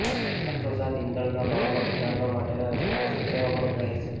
સાથોસાથ ઈંધણના ભાવ ઘટાડવા માટેના રસ્તાઓ સૂચવવા પણ કહેશે